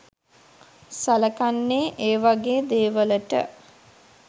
සලකන්නේ ඒ වගේ දේවලට.